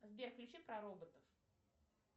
сбер включи про роботов